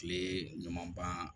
Kile ɲuman ban